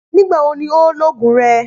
Nígbà wo ni o óò loògùn re?